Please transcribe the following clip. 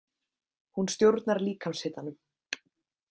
Hún stjórnar líkamshitanum.